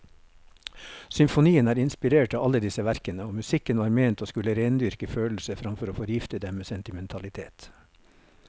Symfonien er inspirert av alle disse verkene, og musikken var ment å skulle rendyrke følelser framfor å forgifte dem med sentimentalitet.